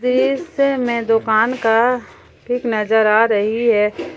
दृश्य में दुकान का पिक नजर आ रही है।